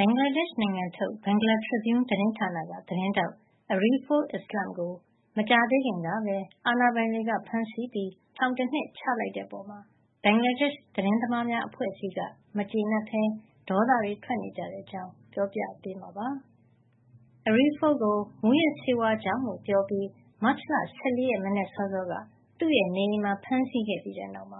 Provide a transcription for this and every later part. ဘင်္ဂလားဒေ့ရှ်နိုင်ငံထုတ် Bangla Tribune သတင်းဌာနက သတင်းထောက် Ariful Islam ကို မကြာသေးခင်ကပဲ အာဏာပိုင်တွေက ဖမ်းဆီးပြီး ထောင်တနှစ် ချလိုက်တဲ့အပေါ် ဘင်္ဂလားဒေ့ရှ် သတင်းသမားများ အဖွဲ့အစည်းက မကျေနပ်ဘဲ ဒေါသထွက်နေကြပါတယ်။ အပြည့်အစုံကို ဒေါ်ခင်မျိုးသက်က တင်ပြပေးထားပါတယ်။ Ariful ကို မူးယစ်ဆေးဝါးမှုကြောင့်လို့ ပြောပြီး မတ်လ ၁၄ ရက် မနက်စောစောက သူ့နေအိမ်မှာ ဖမ်းဆီးခဲ့ပြီးတဲ့နောက်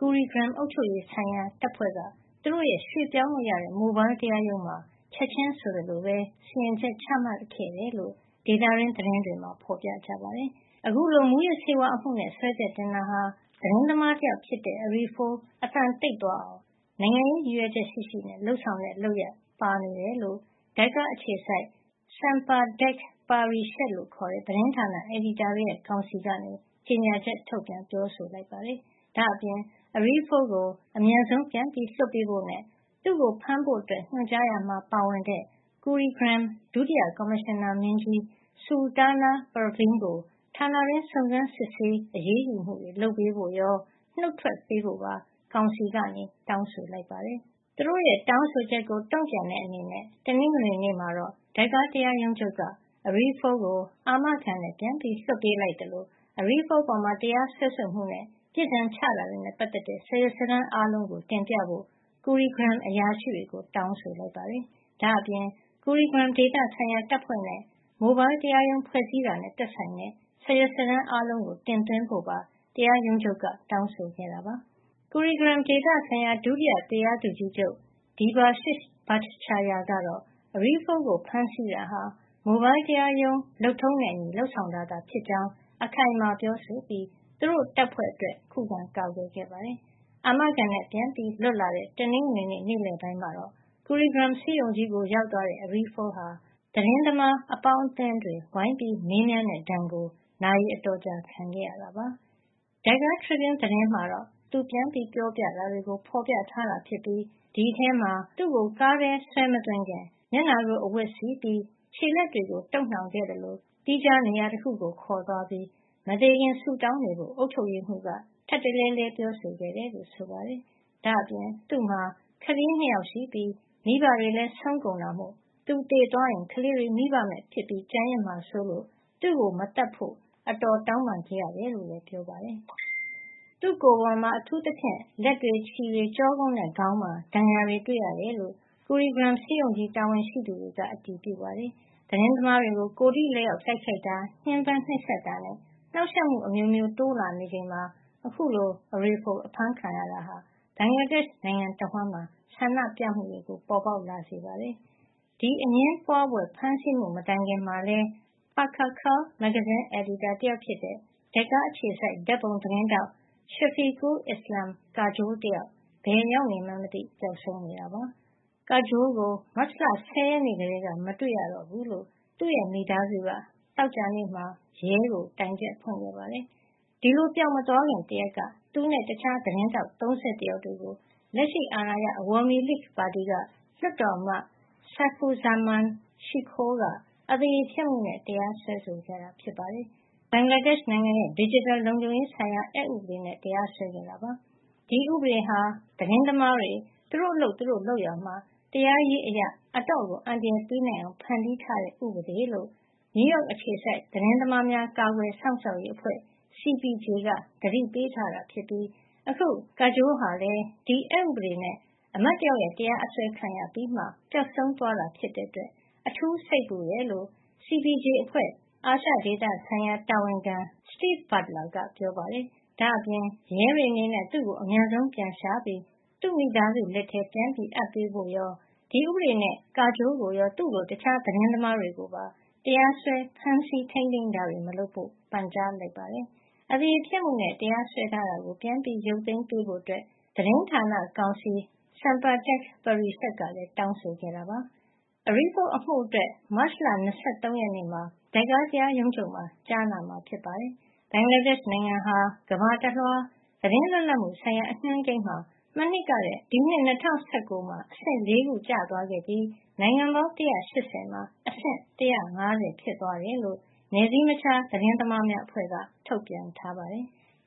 Kurigram အုပ်ချုပ်ရေးဆိုင်ရာတပ်ဖွဲ့က သူတို့ရဲ့ ရွှေ့ပြောင်းလို့ရတဲ့ Mobile တရားရုံးမှာ ချက်ချင်းဆိုသလိုပဲ စီရင်ချက် ချမှတ်ခဲ့တယ်လို့ ဒေသတွင်း သတင်းတွေမှာ ဖော်ပြပါတယ်။ အခုလို မူးယစ်ဆေးဝါးမှုနဲ့ စွဲချက်တင်တာဟာ သတင်းသမားတယောက်ဖြစ်တဲ့ Ariful အသံတိတ်သွားအောင် နိုင်ငံရေးရည်ရွယ်ချက်ရှိရှိ လုပ်ဆောင်တဲ့လုပ်ရပ် ပါနေတယ်လို့ ဒါကာအခြေစိုက် Sampadak Parishad လို့ခေါ်တဲ့ သတင်းဌာန အယ်ဒီတာတွေရဲ့ ကောင်စီက ကြေညာချက် ထုတ်ပြန် ပြောဆိုပါတယ်။ ဒါ့အပြင် Ariful ကို အမြန်ဆုံး ပြန်လွှတ်ပေးဖို့နဲ့ သူ့ကိုဖမ်းဖို့ ညွှန်ကြားရာမှာ ပါဝင်တဲ့ Kurigram ဒုတိယကော်မရှင်နာမင်းကြီး Sultana Pervin ကို ဌာနတွင်း စုံစမ်းစစ်ဆေး အရေးယူမှုတွေ လုပ်ပေးဖို့ရော နုတ်ထွက်ပေးဖို့ပါ ကောင်စီက တောင်းဆိုလိုက်ပါတယ်။ သူတို့ရဲ့ တောင်းဆိုချက်ကို တုံ့ပြန်တဲ့အနေနဲ့ တနင်္ဂနွေနေ့မှာတော့ ဒါကာတရားရုံးချုပ်က Ariful ကို အာမခံနဲ့ ပြန်လွှတ်ပေးလိုက်သလို Ariful အပေါ် တရားစွဲဆိုမှုနဲ့ အပြစ်ဒဏ်ချတာတွေနဲ့ ပတ်သက်တဲ့ စာရွက်စာတမ်းအားလုံး တင်ပြဖို့ Kurigram အရာရှိတွေကို တောင်းဆိုလိုက်ပါတယ်။ ဒါ့အပြင် Kirugram ဒေသဆိုင်ရာ တပ်ဖွဲ့နဲ့ Mobile တရားရုံး ဖွဲ့စည်းတာနဲ့ သက်ဆိုင်တဲ့ စာရွက်စာတမ်း အားလုံး တင်သွင်းဖို့ပါ တရားရုံးချုပ်က တောင်းဆိုခဲ့တာပါ။ Kirugram ဒေသဆိုင်ရာ ဒုတိယတရားသူကြီးချုပ် Debashish Bhattcharyya ကတော့ Ariful ကို ဖမ်းဆီးတာဟာ Mobile တရားရုံးလုပ်ထုံးနဲ့အညီ လုပ်ဆောင်တာသာဖြစ်ကြောင်း အခိုင်အမာပြောဆိုပြီး သူတို့တပ်ဖွဲ့အတွက် ခုခံကာကွယ်ပါတယ်။ အာမခံနဲ့ ပြန်လွတ်လာတဲ့ တနင်္ဂနွေ နေ့လယ်ပိုင်းမှာတော့ Kurigram ဆေးရုံကြီးကို ရောက်သွားတဲ့ Ariful ဟာ သတင်းသမား အပေါင်းအသင်းတွေ ဝိုင်းပြီး မေးမြန်းတဲ့ဒဏ်ကို နာရီအတော်ကြာ ခံခဲ့ရတာပါ။ Dhaka Tribune သတင်းမှာတော့ သူပြန်ပြောပြတာတွေကို ဖော်ပြထားတာ ဖြစ်ပြီး ဒီအထဲမှာ သူ့ကိုကားထဲ ဆွဲမသွင်းခင် မျက်နှာကို အဝတ်စည်းပြီး ခြေလက်တွေကို တုတ်နှောင်ခဲ့သလို သီးခြားနေရာတခုကို ခေါ်သွားပြီး မသေခင် ဆုတောင်းနေဖို့ အုပ်ချုပ်ရေးမှူးက ထပ်တလဲလဲ ပြောခဲ့တယ်လို့ ဆိုပါတယ်။ ဒါ့အပြင် သူ့မှာ ကလေး ၂ ယောက်ရှိပြီး မိဘတွေလည်း ဆုံးကုန်တာမို့ သူသေသွားရင် ကလေးတွေ မိဘမဲ့ ဖြစ်ကျန်ရစ်မှာစိုးလို့ သူ့ကိုမသတ်ဖို့ အတော် တောင်းပန်ခဲ့ရတယ်လို့လည်း ပြောပါတယ်။ သူ့ကိုယ်ပေါ်မှာ အထူးသဖြင့် လက်တွေ၊ ခြေတွေ၊ ကျောကုန်းနဲ့ ခေါင်းမှာ ဒဏ်ရာတွေ တွေ့ရတယ်လို့ Kurigram ဆေးရုံကြီး တာဝန်ရှိသူတွေက အတည်ပြုပါတယ်။ သတင်းသမားတွေကို ကိုယ်ထိလက်ရောက် တိုက်ခိုက်တာ၊ ညှဉ်းပန်းနှိပ်စက်တာနဲ့ နှောင့်ယှက်မှု အမျိုးမျိုး တိုးလာနေချိန်မှာ အခုလို Aruful အဖမ်းခံရတာက ဘင်္ဂလားဒေ့ရှ် နိုင်ငံတဝှမ်းမှာ ဆန္ဒပြမှုတွေ ပေါ်လာစေပါတယ်။ ဒီအငြင်းပွားဖွယ် ဖမ်းဆီးမှု မတိုင်ခင်ကလည်း Pakkhakal မဂ္ဂဇင်းအယ်ဒီတာ တယောက်ဖြစ်တဲ့ ဒက်ကာအခြေစိုက် ဓာတ်ပုံသတင်းထောက် Shafiqul Islam Kajol တယောက် ဘယ်ရောက်မှန်းမသိ ပျောက်ဆုံးနေတာပါ။ Kajol ကို မတ်လ ၁၀ ရက်နေ့ကတည်းက မတွေ့တော့ဘူးလို့ သူ့ရဲ့မိသားစုက သောကြာနေ့မှာ ရဲကို တိုင်ချက်ဖွင့်ခဲ့ပါတယ်။ ဒီလို ပျောက်မသွားခင် တရက်က သူနဲ့ တခြားသတင်းထောက် ၃၁ ယောက်တို့ကို လက်ရှိအာဏာရ အဝါမီလိခ် ပါတီက လွှတ်တော်အမတ် Saifuzzaman Shikhor က အသရေဖျက်မှုနဲ့ တရားစွဲခဲ့တာ ဖြစ်ပါတယ်။ ဒါဟာ ဘင်္ဂလားဒေ့ရှ်နိုင်ငံရဲ့ ဒစ်ဂျစ်တယ် လုံခြုံရေး အက်ဥပဒေနဲ့ တရားစွဲခဲ့တာ ဖြစ်ပါတယ်။ ဒီဥပဒေဟာ သတင်းသမားတွေ သူတို့အလုပ် သူတို့လုပ်ရာမှာ တရားရေးအရ အတော့်ကို အန္တရာယ်ပေးနိုင်အောင် ဖန်တီးထားတဲ့ ဥပဒေလို့ နယူးယောက်အခြေစိုက် သတင်းသမားများ ကာကွယ်စောင့်ရှောက်ရေး CPJ အဖွဲ့က သတိပေးထားတာဖြစ်ပြီး အခု Kajol ဟာလည်း ဒီအက်ဥပဒေနဲ့ အမတ်တယောက်ရဲ့ တရားအစွဲခံရပြီးမှ ပျောက်ဆုံးသွားတာကြောင့် အထူးစိတ်ပူတယ်လို့ CPJ အဖွဲ့ အာရှဒေသဆိုင်ရာ တာဝန်ခံ Steven Butler က ပြောပါတယ်။ ဒါ့အပြင် ရဲတွေအနေနဲ့ သူ့ကို အမြန်ဆုံးပြန်ရှာပြီး သူ့မိသားစုလက်ထဲ ပြန်အပ်ဖို့ရော ဒီဥပဒေနဲ့ Kajol ကိုရော သူ့လို တခြား သတင်းသမားတွေကိုပါ တရားစွဲ ဖမ်းဆီးတာတွေ မလုပ်ဖို့ ပန်ကြားလိုက်ပါတယ်။ အသရေဖျက်မှုနဲ့ တရားစွဲထားတာကို ပြန်ရုပ်သိမ်းပေးဖို့ သတင်းဌာနကောင်စီ Sampadak Parishad ကလည်း တောင်းဆိုခဲ့တာပါ။ Ariful အမှုအတွက် မတ်လ ၂၃ ရက်နေ့မှာ ဒက်ကာတရားရုံးချုပ်မှာ ကြားနာမှာ ဖြစ်ပါတယ်။ ဘင်္ဂလားဒေ့ရှ်နိုင်ငံဟာ ကမ္ဘာတလွှား သတင်းလွတ်လပ်မှုဆိုင်ရာ အညွှန်းကိန်းမှာ မနှစ်ကထက် ၂၀၁၉ ခုနှစ်မှာ အဆင့် ၄ ခု ကျသွားခဲ့ပြီး နိုင်ငံပေါင်း ၁၈၀ မှာ အဆင့် ၁၅၀ ဖြစ်သွားတယ်လို့ နယ်စည်းမခြား သတင်းသမားများအဖွဲ့က ထုတ်ပြန်ထားပါတယ်။